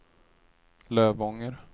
Lövånger